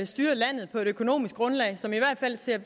styrer landet på et økonomisk grundlag som i hvert fald ser